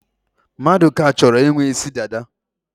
Maduka chọrọ ị nwe isi dada.